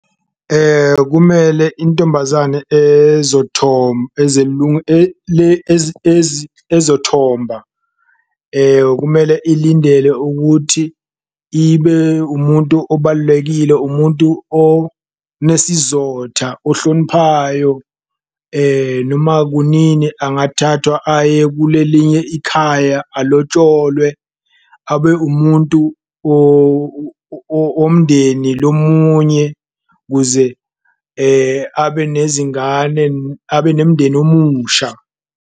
Kumele intombazane ezothomba kumele ilindele ukuthi ibe umuntu obalulekile, umuntu onesizotha ohloniphayo noma kunini angathathwa aye kulelnye ikhaya alotsholwe abe umuntu womndeni lomunye. Kuze abe nezingane, abe nemndeni omusha.